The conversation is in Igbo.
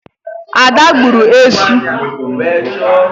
Ada gburu esu.